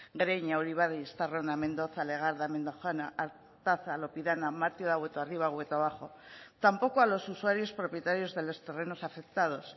gereña uribarri estarrona mendoza legarda mendojana artaza lopidana hueto arriba y hueto abajo tampoco a los usuarios propietarios de los terrenos afectados